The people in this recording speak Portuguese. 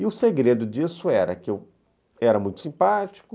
E o segredo disso era que eu era muito simpático,